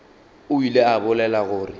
o ile a bolela gore